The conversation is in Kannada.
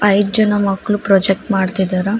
ಐದ್ ಜನ ಮಕ್ಳು ಪ್ರೊಜಕ್ಟ್ ಮಾಡ್ತಿದ್ದಾರ.